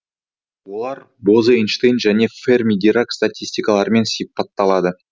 олар бозе эйнштейн және ферми дирак статистикаларымен сипатталады